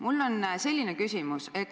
Mul on selline küsimus.